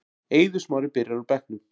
Eiður Smári byrjar á bekknum